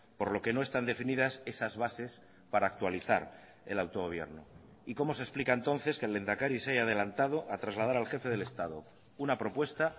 por lo que no están definidas esas bases para actualizar el autogobierno y cómo se explica entonces que el lehendakari se haya adelantado a trasladar al jefe del estado una propuesta